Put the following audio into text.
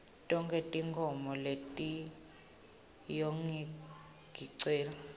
tonkhe tinkhomo letiyongicelela